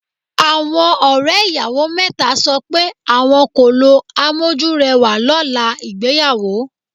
Àwọn ọ̀rẹ́ ìyàwó mẹ́ta sọ pé àwọn kò lo amójúrẹwà lọ́la ìgbéyàwó.